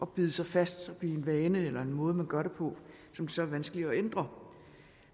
bide sig fast og blive en vane eller en måde man gør det på og som så er vanskelig at ændre